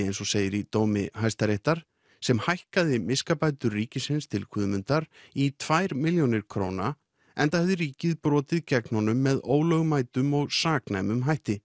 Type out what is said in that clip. eins og segir í dómi Hæstaréttar sem hækkaði miskabætur ríkisins til Guðmundar í tvær milljónir króna enda hefði ríkið brotið gegn honum með ólögmætum og saknæmum hætti